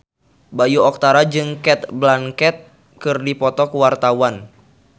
Bayu Octara jeung Cate Blanchett keur dipoto ku wartawan